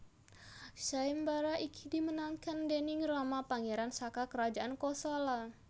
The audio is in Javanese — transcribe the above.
Sayembara iki dimenangkan déning Rama pangeran saka Kerajaan Kosala